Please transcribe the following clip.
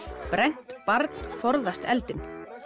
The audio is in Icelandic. brennt barn forðast eldinn